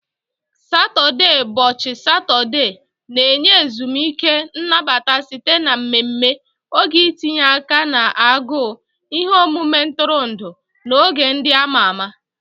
Saturdaybọchị Satọde na-enye ezumike nnabata site na mmemme, oge itinye aka na agụụ, ihe omume ntụrụndụ, na oge ndị a ma ama